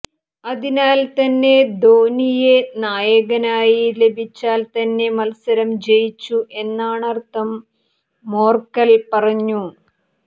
അതിനാൽ തന്നെ ധോണിയെ നായകനായി ലഭിച്ചാൽ തന്നെ മത്സരം ജയിച്ചു എന്നാണർത്ഥം മോർക്കൽ പറഞ്ഞു